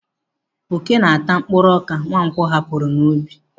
Ókè na-ata mkpụrụ ọka Nwankwo hapụrụ n'ubi.